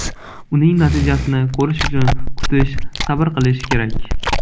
Uning natijasini ko‘rish uchun kutish, sabr qilish kerak.